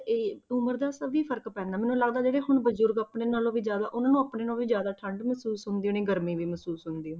ਇਹ ਉਮਰ ਦਾ ਕਾਫ਼ੀ ਫ਼ਰਕ ਪੈਂਦਾ, ਮੈਨੂੰ ਲੱਗਦਾ ਜਿਹੜੇ ਹੁਣ ਬਜ਼ੁਰਗ ਆਪਣੇ ਨਾਲੋਂ ਵੀ ਜ਼ਿਆਦਾ ਉਹਨਾਂ ਨੂੰ ਆਪਣੇ ਨਾਲੋਂ ਵੀ ਜ਼ਿਆਦਾ ਠੰਢ ਮਹਿਸੂਸ ਹੁੰਦੀ ਹੋਣੀ ਗਰਮੀ ਵੀ ਮਹਿਸੂਸ ਹੁੰਦੀ ਹੋਣੀ,